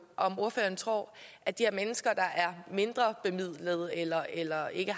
om ordføreren tror at de her mennesker der er mindrebemidlede eller eller ikke